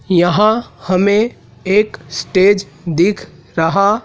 यहां हमें एक स्टेज दिख रहा।